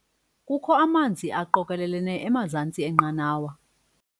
Kukho amanzi aqokelelene emazantsi enqanawa.